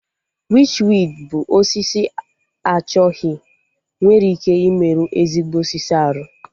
Wichwidi bụ osisi achọghị nwere ike ịmerụ ezigbo osisi arụ